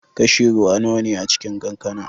Kashi ruwa nawa ne a cikin kankana?